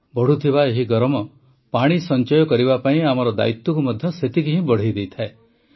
ବଢ଼ୁଥିବା ଏହି ଗରମ ପାଣି ସଂଚୟ କରିବା ପାଇଁ ଆମର ଦାୟିତ୍ୱକୁ ମଧ୍ୟ ସେତିକି ହିଁ ବଢ଼ାଇଦିଏ